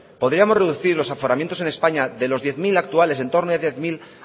podríamos reducir los aforamientos en españa de los diez mil actuales en torno de diez mil